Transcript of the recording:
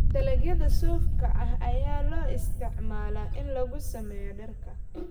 Dalagyada suufka ah ayaa loo isticmaalaa in lagu sameeyo dharka.